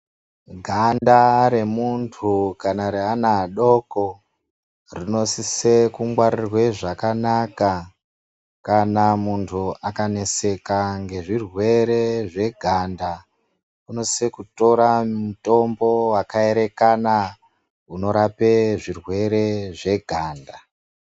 Ganda remuntu kana reana adoko anosisa kungwarirwa zvakanaka kana muntu akaneseka ngezvirwere zveganda vanosisa kutora mitombo yakaerekana unorapa zvirwere zveganda.